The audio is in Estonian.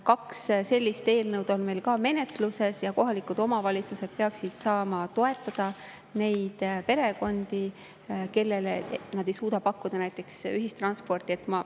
Kaks sellist eelnõu on meil menetluses ja kohalikud omavalitsused peaksid saama toetada neid perekondi, kellele nad ei suuda ühistransporti pakkuda.